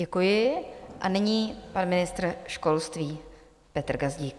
Děkuji a nyní pan ministr školství Petr Gazdík.